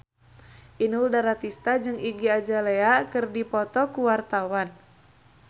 Inul Daratista jeung Iggy Azalea keur dipoto ku wartawan